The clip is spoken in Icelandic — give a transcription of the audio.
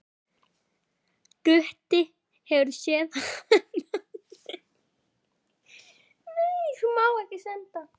Gutti hefur séð hana bera.